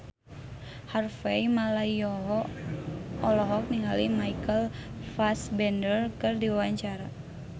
Harvey Malaiholo olohok ningali Michael Fassbender keur diwawancara